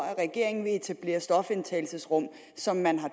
at regeringen vil etablere stofindtagelsesrum som man har